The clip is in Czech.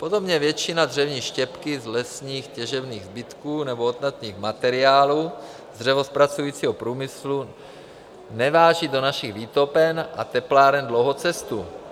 Podobně většina dřevní štěpky z lesních těžebních zbytků nebo odpadních materiálů z dřevozpracujícího průmyslu neváží do našich výtopen a tepláren dlouhou cestu.